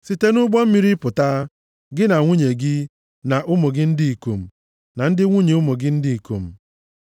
“Site nʼụgbọ mmiri pụta, gị na nwunye gị, na ụmụ gị ndị ikom, na ndị nwunye ụmụ gị ndị ikom.